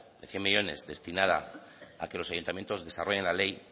de cien millónes destinada a que los ayuntamientos desarrollen la ley